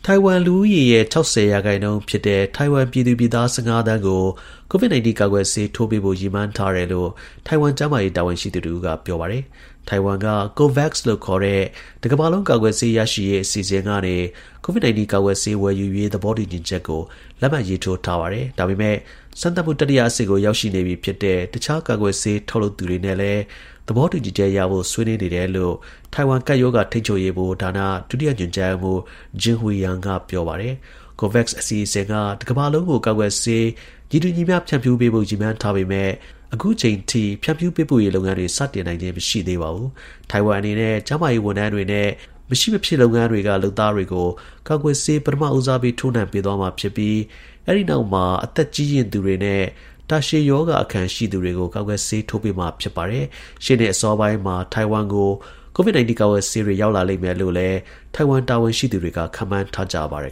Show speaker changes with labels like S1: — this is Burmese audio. S1: ိုင်ဝမ် လူဦးရေရဲ့ ၆၀ ရာခိုင်နှုန်းဖြစ်တဲ့ ထိုင်ဝမ်ပြည်သူပြည်သား ၁၅ သန်းကို COVID 19 ကာကွယ်ဆေးထိုးပေးဖို့ ရည်မှန်း ထားတယ်လို့ ထိုင်ဝမ် ကျန်းမာရေး တာဝန်ရှိသူတစ်ဦးက ပြောပါတယ်။ ထိုင်ဝမ်က COVAX လို့ခေါ်တဲ့ တစ်ကမ္ဘာလုံး ကာကွယ်ဆေး ရရှိရေး အစီအစဉ်ကနေ COVID 19 ကာကွယ်ဆေး ဝယ်ယူရေး သဘောတူညီချက်ကို လက်မှတ်ရေးထိုးထားတာပါ။ ဒါပေမယ့် စမ်းသပ်မှု တတိယအဆင့်ကို ရောက်နေပြီ ဖြစ်တဲ့ တခြား ကာကွယ်ဆေး ထုတ်လုပ်သူတွေနဲ့လည်း သဘောတူချက်ရဖို့ ဆွေးနွေးနေတယ်လို့လည်း ထိုင်ဝမ် ကပ်ရောဂါ ထိန်းချုပ်ရေးဗဟိုဌာန ဒုတိယ ညွှန်ကြားရေးမှူး Jing-Hui Yang က ပြောပါတယ်။ COVAX အစီအစဉ်က တစ်ကမ္ဘာလုံးကို ကာကွယ်ဆေး ညီတူညီမျှ ဖြန့်ဖြူးပေးဖို့ ရည်မှန်းထားပေမယ့် အခုအချိန်အထိ ဖြန့်ဖြူး ပေးပို့ရေး လုပ်ငန်းတွေ စတင်နိုင်ခြင်း မရှိသေးပါဘူး။ ထိုင်ဝမ်အနေနဲ့ ကျန်းမာရေးဝန်ထမ်းတွေနဲ့ မဖြစ်မရှိ လုပ်ငန်းတွေက လုပ်သားတွေကို ကာကွယ်ဆေး ပထမဦးစားပေး ထိုးနှံပေးသွားမှာ ဖြစ်ပြီး အဲဒီနောက်မှာ အသက်အရွယ် ကြီးရင့်သူတွေနဲ့ တာရှည် ရောဂါအခံ ရှိသူတွေကို ကာကွယ်ဆေး ထိုးပေးမှာ ဖြစ်ပါတယ်။ ရှေ့နှစ် အစောပိုင်းမှာ ထိုင်ဝမ်ကို COVID 19 ကာကွယ်ဆေးတွေ ရောက်လာလိမ့်မယ်လို့လည်း ထိုင်ဝမ် တာဝန်ရှိသူတွေက ခန့်မှန်းထားကြ
S2: ပါတယ်